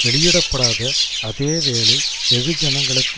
வெளியிடப்படாத அதே வேளை வெகுஜனங்களுக்கு